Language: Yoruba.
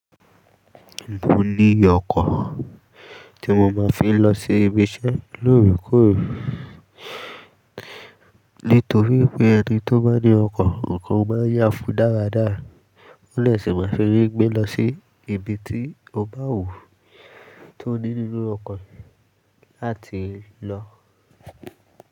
Mo ní ọkọ̀ tí mo máa ń fi ń lọ sí ibi iṣẹ́ lóòrèkóòrè. Nítorí wipé ẹni tó bá ní ọkọ̀, nǹkan ó máa ń yà fún dáradára. Ó lè sì máa fi eré gbé lọ sí ibi tí ó bá wù ú tó ní nínú ọkàn rẹ̀ láti lọ.